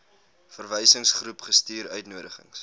verwysingsgroep gestuur uitnodigings